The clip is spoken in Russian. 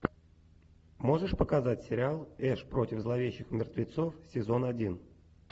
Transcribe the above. можешь показать сериал эш против зловещих мертвецов сезон один